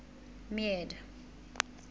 meade